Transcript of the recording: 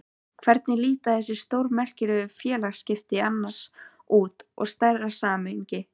Hvernig líta þessi stórmerkilegu félagsskipti annars út í stærra samhengi?